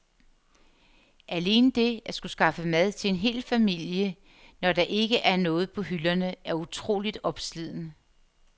Alene det at skulle skaffe mad til en hel familie, når der ikke er noget på hylderne, er utroligt opslidende.